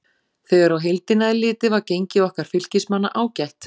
Þegar á heildina er litið var gengi okkar Fylkismanna ágætt.